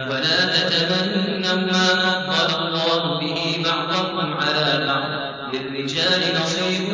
وَلَا تَتَمَنَّوْا مَا فَضَّلَ اللَّهُ بِهِ بَعْضَكُمْ عَلَىٰ بَعْضٍ ۚ لِّلرِّجَالِ نَصِيبٌ